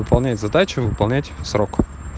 выполнять задачу выполнять срок